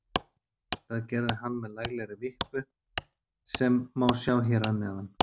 Það gerði hann með laglegri vippu sem má sjá hér að neðan.